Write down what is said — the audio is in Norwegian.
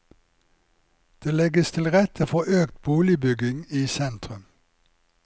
Det legges til rette for økt boligbygging i sentrum.